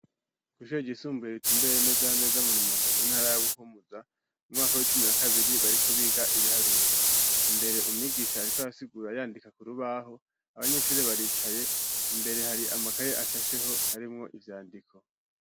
Kw'ishure ryisumbuye ritumbereye neza na neza murumonge mu ntara ya buhumuza, mu mwaka w'icumi na kabiri bariko bariga ibiharuro imbere umwigisha ariko arasigura, yandika k'urubaho ,abanyeshure baricaye ,imbere hariho amakaye ashasheho arimwo ivyandiko.